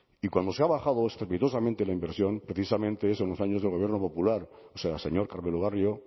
y cuando se ha bajado estrepitosamente la inversión precisamente es en los años de gobierno popular o sea señor carmelo barrio